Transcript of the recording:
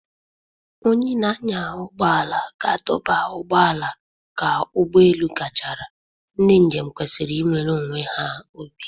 Onye na-anya ụgbọ ala ga-adọba ụgbọ ala ka ụgbọ elu gachara, ndị njem kwesịrị iwere onwe ha obi